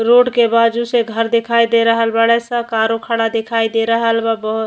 Road के बाजु से घर दिखाई दे रहल बाड़ेस। कारो खड़ा दिखाई दे रहल बा बहोत।